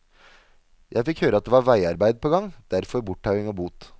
Jeg fikk høre at det var veiarbeid på gang, derfor borttauing og bot.